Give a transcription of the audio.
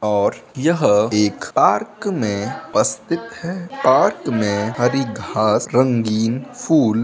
और यह एक पार्क में स्थित है पार्क में हरी घांस रंगीन फूल --